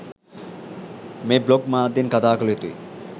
මේ බ්ලොග් මාධ්‍යයෙන් කතා කළ යුතුයි.